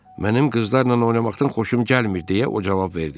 Mənim qızlarla oynamaqdan xoşum gəlmir deyə o cavab verdi.